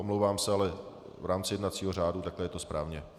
Omlouvám se, ale v rámci jednacího řádu je to takto správně.